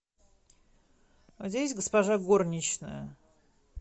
а у тебя есть госпожа горничная